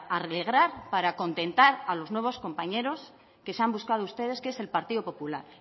alegrar para contentar a los nuevos compañeros que se han buscado ustedes que es el partido popular